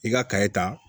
I ka kayi ta